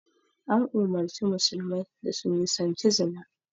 An umarci musulmai da su nisanci zina